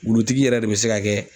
Wulutigi yɛrɛ de bE se ka kɛ